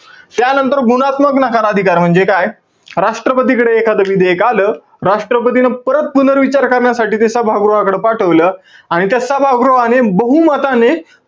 त्यानंतर गुणात्मक नकार अधिकार म्हणजे काय? राष्ट्रपतीकडे एखाद विधेयक आलं. राष्ट्रपतीने परत पुनर्विचार करण्यासाठी ते सभागृहाकड पाठवलं. आणि त्या सभागृहाने, बहुमताने,